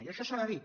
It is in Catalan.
i això s’ha de dir